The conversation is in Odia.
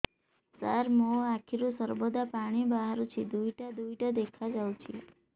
ସାର ମୋ ଆଖିରୁ ସର୍ବଦା ପାଣି ବାହାରୁଛି ଦୁଇଟା ଦୁଇଟା ଦେଖାଯାଉଛି